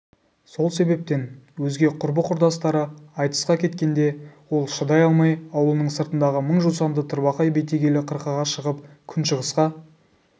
сол себептен өзге құрбы-құрдастары айтысқа кеткенде ол шыдай алмай аулының сыртындағы мың жусанды тырбақай бетегелі қырқаға шығып күншығысқа